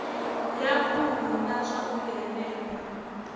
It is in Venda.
ya khuhu na zwauri henefha